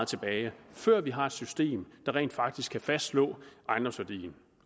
tilbage før vi har et system der rent faktisk kan fastslå ejendomsværdien